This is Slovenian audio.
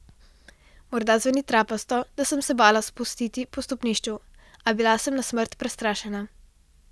Morda zveni trapasto, da sem se bala spustiti po stopnišču, a bila sem na smrt prestrašena.